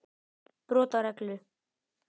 Brot á reglu.